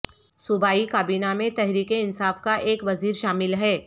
صوبائی کابینہ میں تحریک انصاف کا ایک وزیر شامل ہے